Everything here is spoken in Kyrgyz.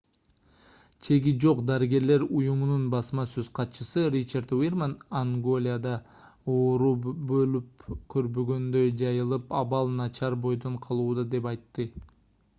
чеги жок дарыгерлер уюмунун басма сөз катчысы ричард вирман анголада оору болуп көрбөгөндөй жайылып абал начар бойдон калууда - деп айтты